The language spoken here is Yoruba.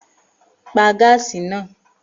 Pa gáàsì náà!